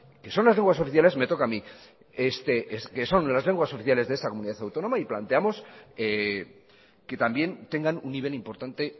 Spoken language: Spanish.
que son las lenguas oficiales me toca a mi es que son las lenguas oficiales de esta comunidad autónoma y planteamos que también tengan un nivel importante